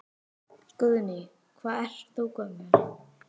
Guðný: Hvað ert þú gömul?